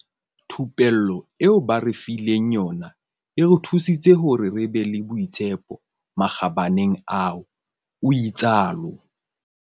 Thupello eo ba re fileng yona e re thusitse hore re be le boitshepo makgabaneng ao," o itsalo.